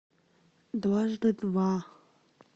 дважды два